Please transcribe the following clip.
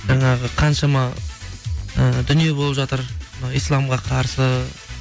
жаңағы қаншама ы дүние болып жатыр ы исламға қарсы